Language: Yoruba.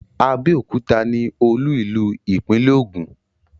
Abẹ́òkúta ní olú-ìlú ìpínlẹ̀ Ogun.